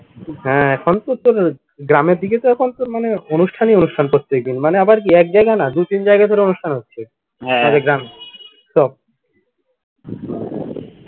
হ্যা এখন তো তোর গ্রামের দিকে তো এখন তোর মনে কর অনুষ্ঠানই অনুষ্ঠান প্রত্যেকদিন মানে আবার কি এক জায়গায় না দুই তিন জায়গায় অনুষ্ঠান হচ্ছে গ্রামে সব